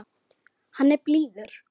Hann er blíður.